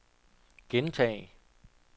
gentag